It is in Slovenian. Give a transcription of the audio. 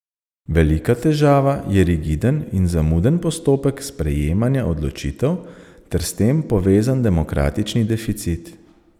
Velika težava je rigiden in zamuden postopek sprejemanja odločitev ter s tem povezan demokratični deficit.